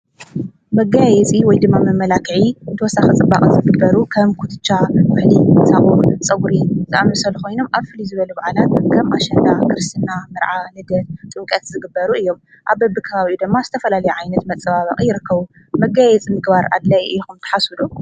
መጋይየፂ ወይ ድመ መመላክዒ እንተወሳ ኽጽባቕ ዘፍግበሩ ኸም ኲትሻ ወሕሊ ሳዉን ጸጕሪ ዝኣምሰል ኾይኖም ኣፍሊ ዝበሉ ብዓላ ከም ኣሸና ክርስትና ምርዓ ንደት ጥንቀት ዝግበሩ እዮም ኣብ በብ ካባብኡ ደማ ዝተፈላሊ ዓይነት መጸባበቕ ይርከዉ መጋይየጽ ምግባር ኣለይ ኢኹም ተሓሱዱ።